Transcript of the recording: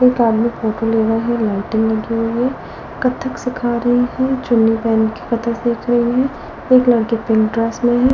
एक आदमी फोटो ले रहा है लाइटिंग लगी हुई है कथक सिखा रही है चुन्नी पहन की कथक देख रही है एक लड़की पिंक ड्रेस में है।